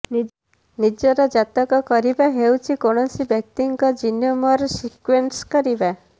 ଜିନର ଜାତକ କରିବା ହେଉଛି କୌଣସି ବ୍ୟକ୍ତିଙ୍କ ଜିନୋମର ସିକ୍ବେନ୍ସ କରିବା